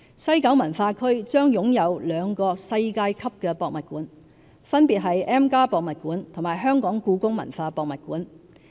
西九文化區將擁有兩個世界級博物館，分別是 M+ 博物館和香港故宮文化博物館。